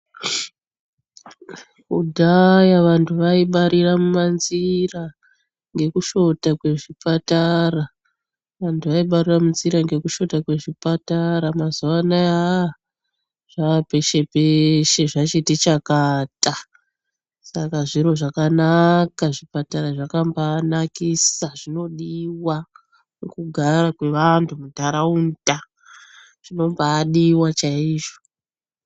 Kudhaya vandu vaibarira mumanzira ngekushota kwezvipatara. Mazuva ano zvaapeshe peshe zvachiti chakata saka zviro zvakanaka zvipatara zvakambaanakisa zvinodiwa nekugara kwevandu mundaraunda zvinombaadiwa chaizvo.